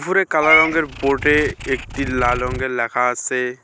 উপরে কালা রঙ্গের বোর্ড -এ একটি লাল রঙ্গের লেখা আসে।